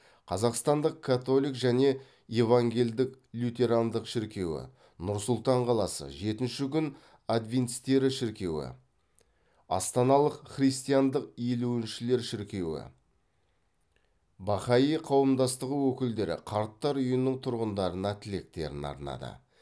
қазақстандық католик және евангелдік лютерандық шіркеуі нұр сұлтан қаласы жетінші күн адвентистері шіркеуі астаналық христиандық елуіншілер шіркеуі бахаи қауымдастығы өкілдері қарттар үйінің тұрғындарына тілектерін арнады